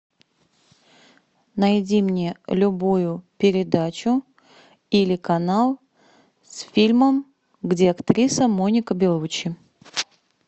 найди мне любую передачу или канал с фильмом где актриса моника белуччи